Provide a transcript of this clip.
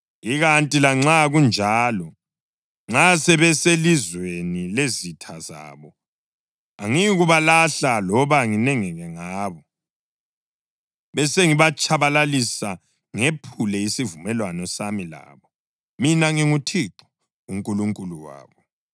Ikanti lanxa kunjalo, nxa sebeselizweni lezitha zabo angiyikubalahla loba nginengeke ngabo, besengibatshabalalisa ngephule lesivumelwano sami labo. Mina nginguThixo uNkulunkulu wabo.